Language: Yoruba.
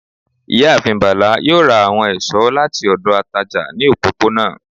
ìyáàfín Bala yoo ra awọn esọ lati ọdọ atajà ni òpọponà